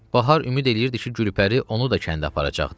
Bahar ümid eləyirdi ki, Gülpəri onu da kəndə aparacaqdı.